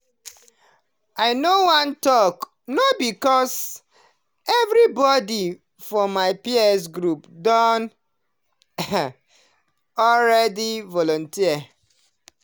i no wan talk no because everybody for my peer group don already volunteer.